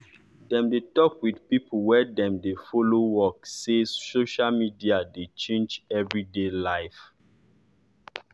dem dey talk wit pipo wey dem de follow work say social media dey change everyday life.